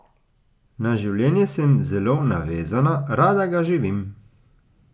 Na življenje sem zelo navezana, rada ga živim.